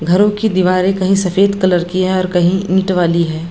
घरो की दिवारें कई सफ़ेद कलर की हैं और कही ईट वाली हैं।